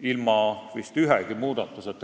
ilma ühegi muudatuseta.